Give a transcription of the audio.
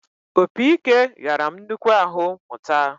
Opi-ike ghara m nnukwu ahụ mụta